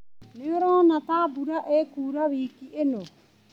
Nĩũrona ta mbura ĩkura wiki ĩno.